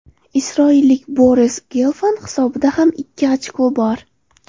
Isroillik Boris Gelfand hisobida ham ikki ochko bor.